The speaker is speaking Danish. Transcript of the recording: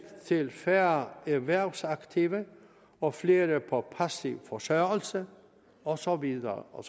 til færre erhvervsaktive og flere på passiv forsørgelse og så videre og